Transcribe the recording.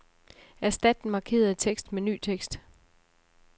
Erstat den markerede tekst med ny tekst.